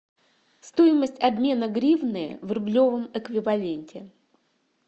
стоимость обмена гривны в рублевом эквиваленте